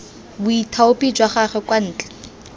boithaopi jwa gagwe kwa ntle